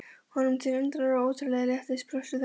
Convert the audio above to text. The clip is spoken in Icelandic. Honum til undrunar og ótrúlegs léttis brostu þær báðar.